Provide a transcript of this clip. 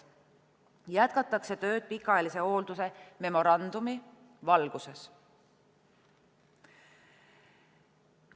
Jätkatakse tööd pikaajalise hoolduse memorandumi valguses.